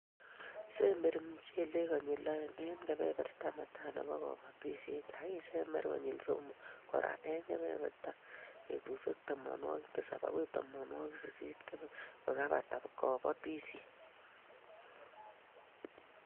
Sember mchelek konyil oeng eng kebeberta netai nebo kobotishet ak isember konyil somok kora kokebata betusiek tamanwokik tisab agoi tamanwokik sisit kokebata kabotishet